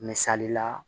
Misali la